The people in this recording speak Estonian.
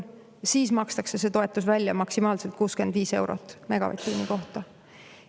Siis makstakse see toetus välja, maksimaalselt 65 eurot megavatt-tunni kohta.